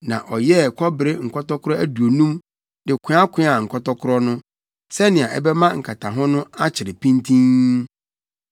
na ɔyɛɛ kɔbere nkɔtɔkoro aduonum de koakoaa nkɔtɔkoro no, sɛnea ɛbɛma nkataho no akyere pintinn.